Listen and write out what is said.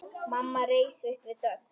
Mamma reis upp við dogg.